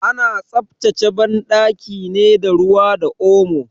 Ana tsaftace banɗaki ne da ruwa da omo.